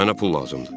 Mənə pul lazımdır.